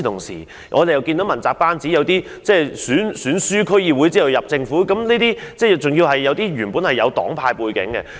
此外，在問責班子中，有些人是在區議會選舉敗選後加入政府，有些人本來有黨派背景。